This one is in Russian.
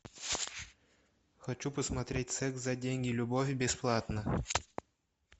хочу посмотреть секс за деньги любовь бесплатно